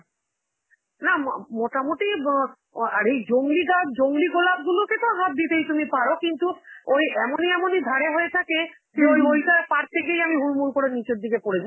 না, ম~ মোটামুটি অ, আরে জংলি গাছ, জংলি গোলাপ গুলোকেতো হাত দিতেই তুমি পারো, কিন্তু ওই এমনই এমনই ধারে হয়ে থাকে যে ওই~ ওইটা পারতে গিয়েই আমি হুরমুর করে নিচের দিকে পড়েছি.